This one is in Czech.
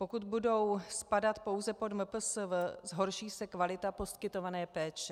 Pokud budou spadat pouze pod MPSV, zhorší se kvalita poskytované péče.